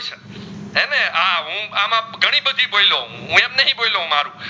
બોયલો હું એમ નથી બોયલો